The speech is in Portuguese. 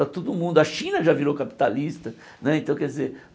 Está todo mundo a China já virou capitalista né então quer dizer.